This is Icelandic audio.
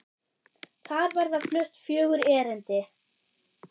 Þar verða flutt fjögur erindi.